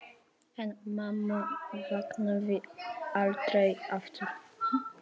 En mamma vaknaði aldrei aftur.